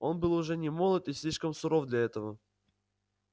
он был уже немолод и слишком суров для этого